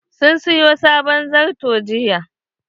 Sun sayo sabon zarto jiya..